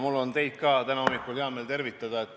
Mul on ka hea meel täna hommikul teid tervitada.